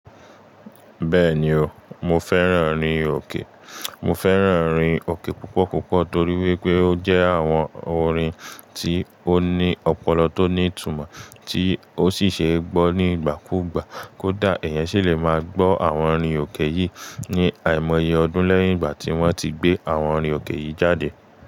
Bẹ́ẹ̀ni o, mo fẹ́ràn orin òkè. Mo fẹ́ràn orin òkè púpọ̀ púpọ̀ torí wípé ó jẹ́ àwọn orin tí ó ní ọpọlọ tó ní ìtumọ̀, tí ó sì ṣe gbọ́ nígbàkúùgbà. Kódà, ẹ̀yan sì lè máa gbọ́ àwọn orin òkè yìí ní àìmọye ọdún lẹ́yìn ìgbà tí wọ́n ti gbé àwọn orin òkè yìí jáde.